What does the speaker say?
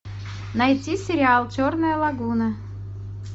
найти сериал черная лагуна